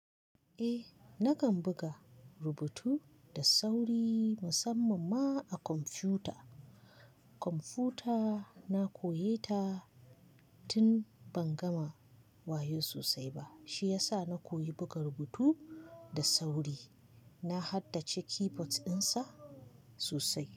Eh, nakan buga rubutu da sauri musamman ma a kwamfuta. Kwamfuta na koyi ta tun ban gama wayo sosai ba. Shi ya sa na koyi buga rubutu da sauri. Na haddace keyboards ɗin sa sosai.